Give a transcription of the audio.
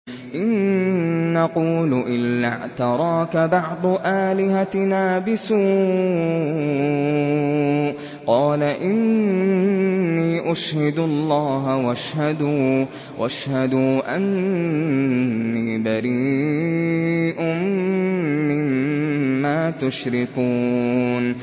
إِن نَّقُولُ إِلَّا اعْتَرَاكَ بَعْضُ آلِهَتِنَا بِسُوءٍ ۗ قَالَ إِنِّي أُشْهِدُ اللَّهَ وَاشْهَدُوا أَنِّي بَرِيءٌ مِّمَّا تُشْرِكُونَ